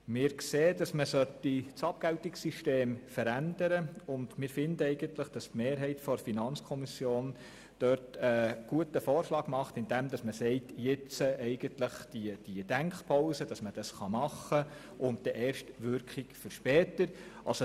Wir sehen, dass das Abgeltungssystem verändert werden sollte und finden, dass die Mehrheit der FiKo diesbezüglich einen guten Vorschlag unterbreitet, indem sie sagt, es bedürfe jetzt einer Denkpause für die Umsetzung, sodass sich die Wirkung später entfaltet.